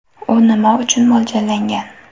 U nima uchun mo‘ljallangan?